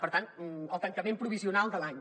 per tant el tancament provisional de l’any